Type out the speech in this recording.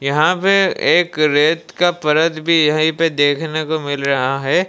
यहां पे एक रेत का परत भी यहीं पे देखने को मिल रहा है।